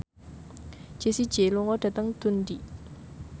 Jessie J lunga dhateng Dundee